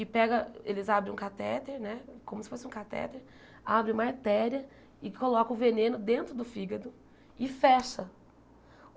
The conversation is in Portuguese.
E pega eles abrem um catéter né, como se fosse um catéter, abrem uma artéria e colocam o veneno dentro do fígado e fecha.